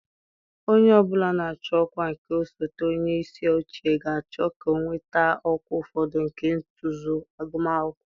Onye ọ bụla na-achọ ọkwa nke osote onye isi oche ga-achọ ka ọ nweta ọkwa ụfọdụ nke ntozu agụmakwụkwọ.